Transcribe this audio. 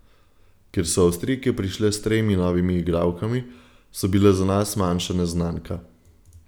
Ker so Avstrijke prišle s tremi novimi igralkami, so bile za nas manjša neznanka.